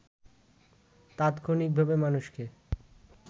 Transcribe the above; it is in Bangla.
তাৎক্ষণিক ভাবে মানুষকে